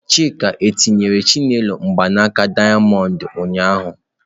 Chika etinyere Chinelo mgbanaka dayamondu ụnyahụ?